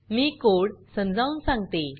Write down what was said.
मी code समजवुन सांगते